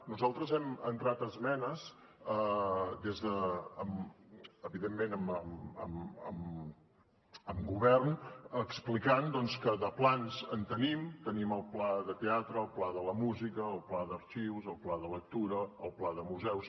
nosaltres hem entrat esmenes evidentment amb govern explicant que de plans en tenim tenim el pla de teatre el pla de la música el pla d’arxius el pla de lectura el pla de museus